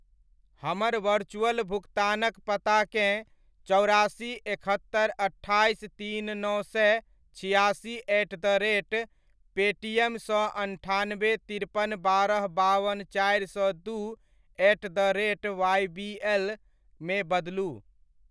हमर वरचुअल भुकतानक पताकेँ चौरासी एकहत्तरि अट्ठाइस तीन नओ सए छिआसी एट द रेट पेटीएम सँ अन्ठानबे तिरपन बारह बावन चारि सए दू एट द रेट वाइबीएल मे बदलू।